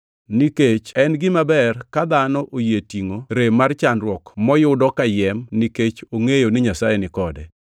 Nikech en gima ber ka dhano oyie tingʼo rem mar chandruok moyudo kayiem nikech ongʼeyo ni Nyasaye ni kode.